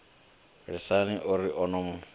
lisani o ri o no